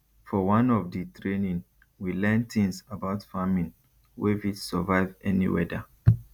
for one of di training we learn tins about farming wey fit survive any weada